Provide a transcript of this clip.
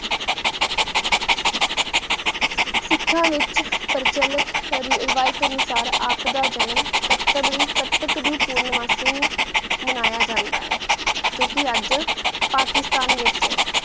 ਸਿਖਾ ਵਹਿਚ ਪਰ ਚਲਤ ਰੇ ਰੇਵਿਤਾਂ ਨਿਸਾਰ ਆਪ ਦਾ ਜਨਮ ਕ਼ਾਤਾਬ ਦੀ ਕਥਕ ਦੀ ਪੂਨਮ ਮਾਸੀ ਨੂ ਮਾਨ੍ਯ ਜਾਂਦਾ ਆਯ ਜੋ ਕੇ ਅਜੇ ਪਾਕਿਸਤਾਨ ਵਹਿਚ ਆਯ